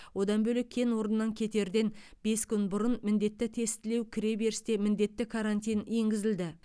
одан бөлек кен орнынан кетерден бес күн бұрын міндетті тестілеу кіре берісте міндетті карантин енгізілді